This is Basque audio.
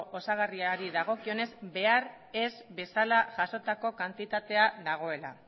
osagarriari dagokionez behar ez bezala jasotako kantitatea dagoela